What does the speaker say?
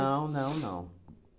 não, não.